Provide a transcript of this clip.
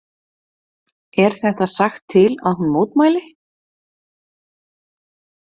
Er þetta sagt til að hún mótmæli?